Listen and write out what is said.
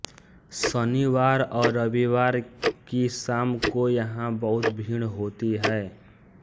शनिवार और रविवार की शाम को यहां बहुत भीड़ होती है